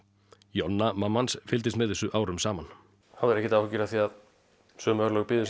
Jonna mamma hans fylgdist með þessu árum saman hafðir þú engar áhyggjur af því að sömu örlög biðu